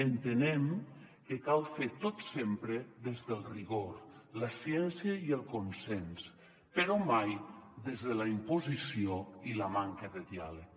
entenem que cal fer tot sempre des del rigor la ciència i el consens però mai des de la imposició i la manca de diàleg